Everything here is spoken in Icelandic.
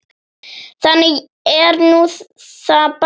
Þannig er nú það bara.